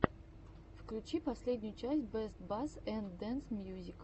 включи последнюю часть бэст басс энд дэнс мьюзик